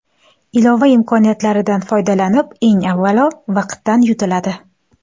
Ilova imkoniyatlaridan foydalanib, eng avvalo vaqtdan yutiladi.